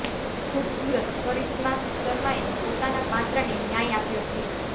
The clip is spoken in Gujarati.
ખૂબસુરત કરિશ્મા શર્માએ પોતાના પાત્રને ન્યાય આપ્યો છે